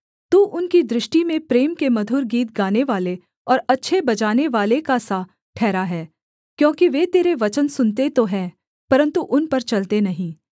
तू उनकी दृष्टि में प्रेम के मधुर गीत गानेवाले और अच्छे बजानेवाले का सा ठहरा है क्योंकि वे तेरे वचन सुनते तो है परन्तु उन पर चलते नहीं